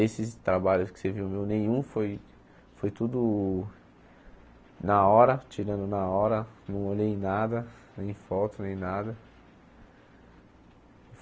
Esses trabalhos que você viu, meu nenhum, foi foi tudo na hora, tirando na hora, não olhei nada, nem foto, nem nada.